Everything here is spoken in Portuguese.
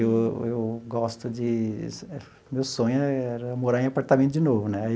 Eu eu gosto de... Meu sonho era morar em apartamento de novo, né?